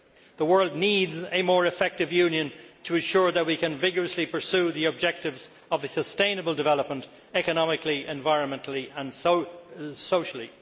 The world needs a more effective Union to ensure that we can vigorously pursue the objectives of sustainable development economically, environmentally and socially.